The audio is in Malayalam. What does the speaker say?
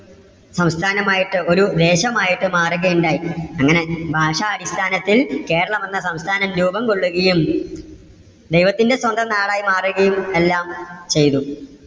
സംസ്ഥാനമായിട്ട് ഒരു ദേശമായിട്ട് മാറുകയുണ്ടായി. അങ്ങനെ ഭാഷ അടിസ്ഥാനത്തിൽ കേരളം എന്ന സംസ്ഥാനം രൂപംകൊള്ളുകയും, ദെെവത്തിന്റെ സ്വന്തം നാടായി മാറുകയും എല്ലാം ചെയ്തു.